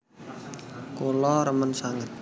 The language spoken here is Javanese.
Kula remen sanget